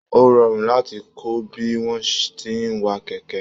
O rọrun láti kọ bí wọn tí n wà kẹkẹ